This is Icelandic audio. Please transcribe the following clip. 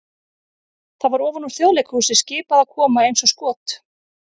það var ofan úr Þjóðleikhúsi skipað að koma eins og skot!